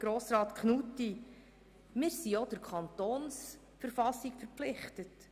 Wir sind auch der Kantonsverfassung verpflichtet.